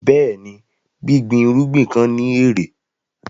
Bẹ́ẹ̀ni, gbígbín irugbin kan ni ẹ̀rẹ̀.